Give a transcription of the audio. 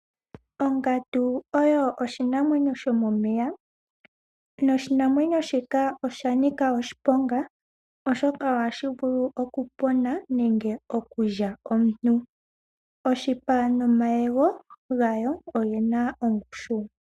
Ongandu oyo oshinamwenyo shomomeya. Oshinamwenyo shika osha nika oshiponga, oshoka ohashi vulu okunina po nenge okulya omuntu. Oshipa nomayego gawo oge na ongushu.